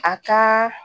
A ka